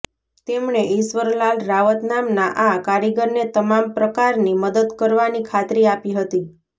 તેમણે ઈશ્વર લાલ રાવત નામના આ કારીગરને તમામ પ્રકારની મદદ કરવાની ખાતરી આપી હતી